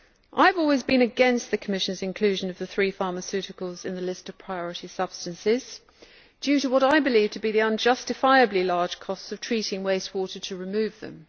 I have always been against the Commission's inclusion of the three pharmaceuticals in the list of priority substances, due to what I believe to be the unjustifiably large costs of treating wastewater to remove them.